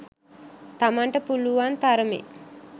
තමන්ට පුළුවන් තරමෙන්